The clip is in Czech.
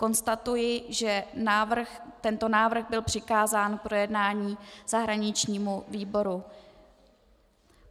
Konstatuji, že tento návrh byl přikázán k projednání zahraničnímu výboru.